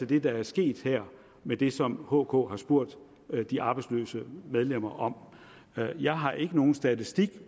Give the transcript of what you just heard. det der er sket her med det som hk har spurgt de arbejdsløse medlemmer om jeg har ikke nogen statistik